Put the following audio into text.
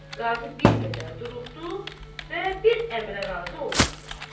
Qazı bir qədər duruxdu və bir əmrə razı olmadı.